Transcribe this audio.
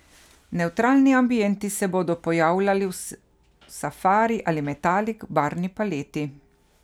Nevtralni ambienti se bodo pojavljali v safari ali metalik barvni paleti.